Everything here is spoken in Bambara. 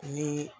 Ni